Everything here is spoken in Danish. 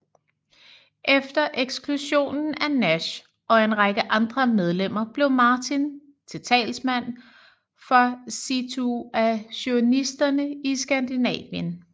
Efter eksklusionen af Nash og en række andre medlemmer blev Martin til talsmand for situationisterne i Skandinavien